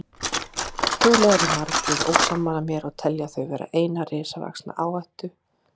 Trúlega eru margir ósammála mér og telja þau vera eina risavaxna áhættu.